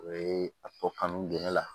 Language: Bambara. O ye a tɔ kanu gere la